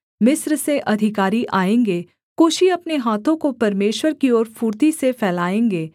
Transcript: मिस्र से अधिकारी आएँगे कूशी अपने हाथों को परमेश्वर की ओर फुर्ती से फैलाएँगे